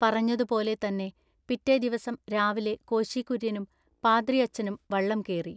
പറഞ്ഞതു പോലെ തന്നെ പിറ്റെ ദിവസം രാവിലെ കോശി കുര്യനും പാദ്രിയച്ചനം വള്ളം കേറി.